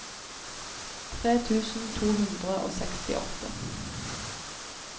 tre tusen to hundre og sekstiåtte